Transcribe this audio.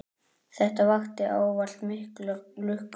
Þetta vakti ávallt mikla lukku.